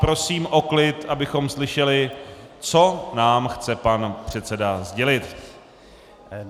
Prosím o klid, abychom slyšeli, co nám chce pan předseda sdělit.